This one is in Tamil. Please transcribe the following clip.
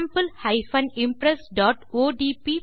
sample impressஒடிபி